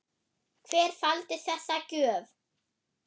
Hver faldi þessa gjöf?